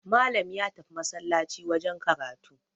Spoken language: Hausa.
Malam ya tafi masallaci wajen karatu